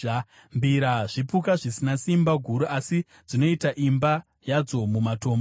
mbira zvipuka zvisina simba guru, asi dzinoita imba yadzo mumatombo;